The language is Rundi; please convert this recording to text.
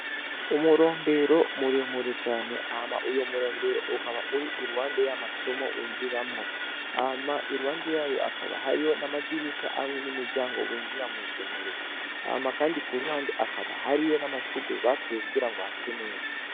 Umurombero muremure cane ama uyo murombero ukaba uri iruwande y'amasomo winjiramwo ama iruwande yayo akaba hariyo n'amadirisha hamwe n'imiryango winjira mw'isomero ama, kandi ku ruhande akaba hariyo n'amashugube bateye kugira ngo hase neza.